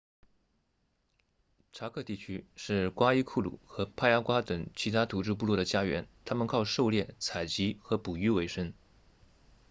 查科 chaco 地区是瓜伊库鲁 guaycuru 和帕亚瓜 payagua 等其他土著部落的家园他们靠狩猎采集和捕鱼为生